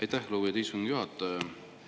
Aitäh, lugupeetud istungi juhataja!